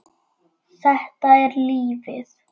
Þetta er lífið.